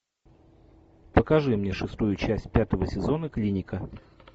покажи мне шестую часть пятого сезона клиника